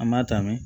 An b'a ta mɛn